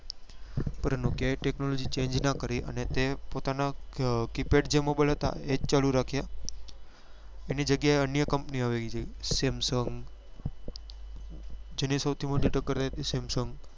પણ nokia એ technology change નાં કરી અને તે પોતાના keypad જે mobile હતા એ જ ચાલુ રાખ્યા એની જગ્યા એ અન્ય company આવી ગઈ samsung જેની સૌથી મોટી ટક્કર રે છે samsung